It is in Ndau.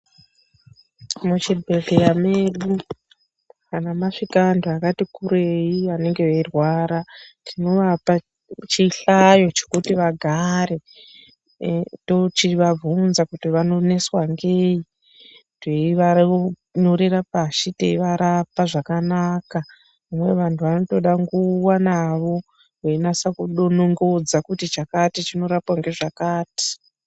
Muchi bhehleya mwedu, kana mwasvika anthu akati kurei, anenge eirwara, tinovapa chihlayo chekuti vagare, toch ivabvunza, kuti vanoneswa ngei? Teivanyorera pashi, teivarapa zvakanaka. Vamweni vanthu vanotoda nguwa navo, weinasa kudo nongodza kuti chakati, chinorapwa ngezvakati.